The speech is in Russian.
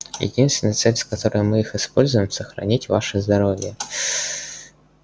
единственная цель с которой мы их используем сохранить ваше здоровье